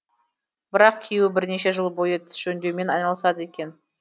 бірақ күйеуі бірнеше жыл бойы тіс жөндеумен айналысады екен